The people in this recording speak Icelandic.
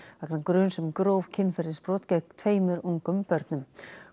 vegna gruns um gróf kynferðisbrot gegn tveimur ungum börnum